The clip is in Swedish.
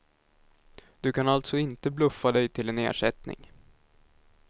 Du kan alltså inte bluffa dig till en ersättning.